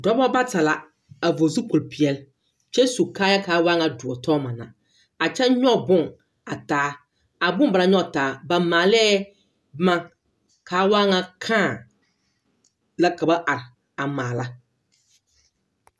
Dɔba bata la a vɔgl zukpol peɛl, kyɛ su kaayaa kaa waa ŋa doɔ tɔma na. A kyɛ nyɔge boŋ a taa. A boŋ ba naŋ nyɔge taa, ba maalee boma kaa waa ŋa kãã la ka ba ar a maala.